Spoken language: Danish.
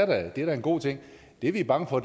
det er da en god ting det vi er bange for